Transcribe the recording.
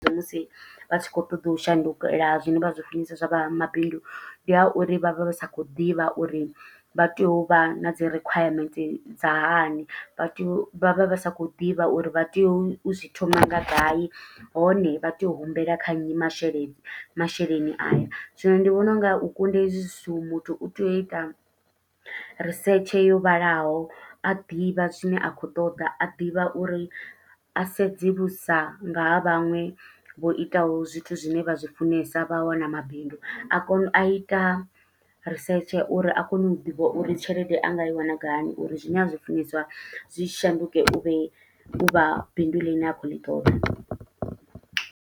Musi vha tshi khou ṱoḓa u shandukela zwine vha zwi funiseswa zwa vha mabindu. Ndi ha uri vha vha vha sa khou ḓivha uri vha tea u vha na dzi rikhwayamenthe dza hani, vha tea u vha vha vha sa khou ḓivha uri vha tea u zwi thoma nga gai. Hone vha tea u humbela kha nnyi masheleni, masheleni aya. Zwino ndi vhona unga u kunda hezwi zwithu, muthu u tea u ita risetshe yo vhalaho, a ḓivha zwine a khou ṱoḓa. A ḓivha uri a sedze vhusa nga ha vhaṅwe vho itaho zwithu zwine vha zwi funesa vha wana mabindu. A kone, a ita risetshe uri a kone u ḓivha uri tshelede a nga i wana gai, uri zwine a zwi funeswa zwi tshi shanduke u vhe, u vha bindu ḽine a khou ḽi ṱoḓa.